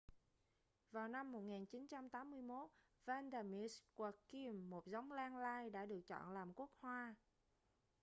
vào năm 1981 vanda miss joaquim một giống lan lai đã được chọn làm quốc hoa